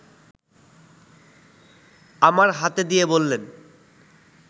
আমার হাতে দিয়ে বললেন